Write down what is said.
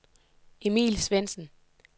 Emil Svendsen